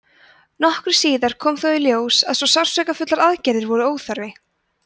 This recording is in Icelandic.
nokkru síðar kom þó í ljós að svo sársaukafullar aðgerðir voru óþarfar